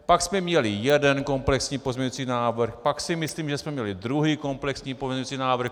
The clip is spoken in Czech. Pak jsme měli jeden komplexní pozměňující návrh, pak si myslím, že jsme měli druhý komplexní pozměňující návrh.